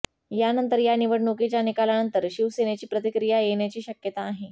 यानंतर या निवडणुकीच्या निकालावर शिवसेनेची प्रतिक्रिया येण्याची शक्यता आहे